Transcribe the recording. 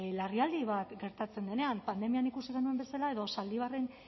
larrialdi bat gertatzen denean pandemian ikusi genuen bezala edo zaldibarren